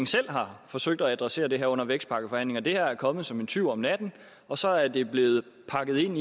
selv har forsøgt at adressere det her under vækstpakkeforhandlingerne det her er kommet som en tyv om natten og så er det blevet pakket ind